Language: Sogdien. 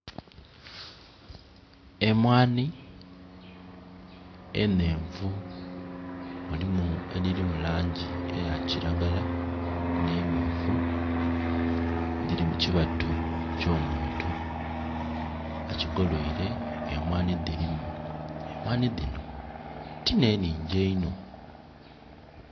Emwaani enhenvu, mulimu edhiri mu langi eya kiragala n'emyufu, dhiri mu kibatu kyo muntu, akigoloire emwaani dhirimu. Emwaani dhino ti n'enhingi einho.